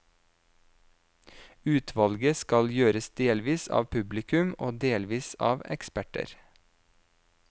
Utvalget skal gjøres delvis av publikum og delvis av eksperter.